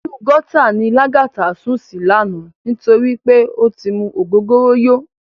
Inú gòtá ni Lagata sún si làná nitóri pé ó ti mú ógógóró yó